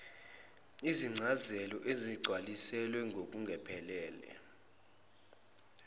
izicelo ezingagcwalisiwe ngokuphelele